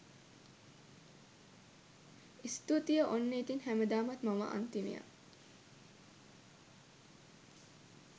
ස්තුතියි ඔන්න ඉතින් හැමදාමත් මම අන්තිමයා.